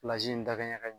in dakɛɲɛ ka ɲi